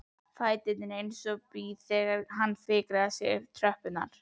Fæturnir eins og blý þegar hann fikrar sig niður tröppurnar.